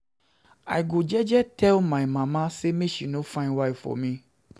I go jeje tell my mama sey make she no find wife for me.